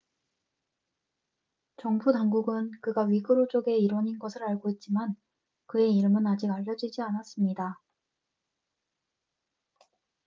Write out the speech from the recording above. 정부 당국은 그가 위구르족의 일원인 것을 알고 있지만 그의 이름은 아직 알려지지 않았습니다